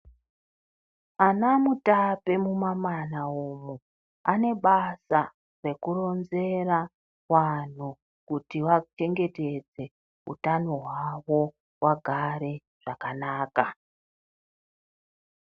Ana Mutape mumamana umu ane basa rekuronzera vantu kuti vachengetedze utano hwavo vagare zvakanaka.